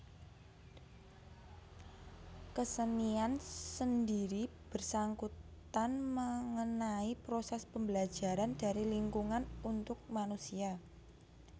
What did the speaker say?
Kesenian sendiri bersangkutan mengenai proses pembelajaran dari lingkungan untuk manusia